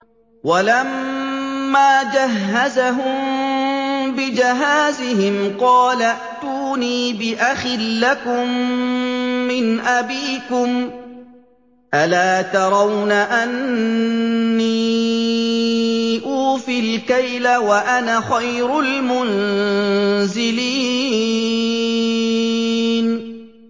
وَلَمَّا جَهَّزَهُم بِجَهَازِهِمْ قَالَ ائْتُونِي بِأَخٍ لَّكُم مِّنْ أَبِيكُمْ ۚ أَلَا تَرَوْنَ أَنِّي أُوفِي الْكَيْلَ وَأَنَا خَيْرُ الْمُنزِلِينَ